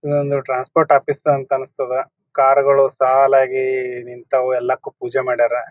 ಇದೊಂದ್ transport office ಅಂತ ಅನಿಸ್ತದ. ಕಾರ್ ಗಳು ಸಾಲ್ ಆಗಿ ನಿಂತವು ಎಲ್ಲವುಕ್ಕೂ ಪೂಜೆ ಮಾಡ್ಯಾರ.